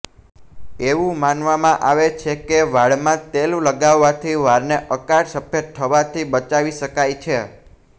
એવું માનવામાં આવે છે કે વાળમાં તેલ લગાવવાથી વાળને અકાળ સફેદ થવાથી બચાવી શકાય છે